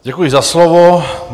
Děkuji za slovo.